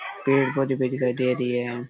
पेड़ पौधे भी दिखाई दे रही है।